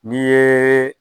N'i yeee